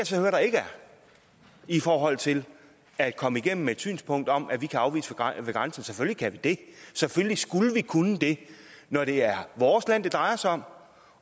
så høre der ikke er i forhold til at komme igennem med et synspunkt om at vi kan afvise ved grænsen selvfølgelig kan vi det selvfølgelig skulle vi kunne det når det er vores land det drejer sig om